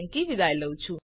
જોડાવા બદ્દલ આભાર